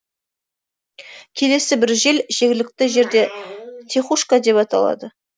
келесі бір жел жергілікті жерде тихушка деп аталады